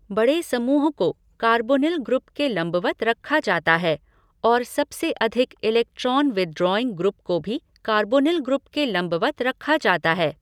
बड़े समूह को कार्बोनिल ग्रुप के लंबवत रखा जाता है और सबसे अधिक इलेक्ट्रॉन विथड्रॉईंग ग्रुप को भी कार्बोनिल ग्रुप के लंबवत रखा जाता है।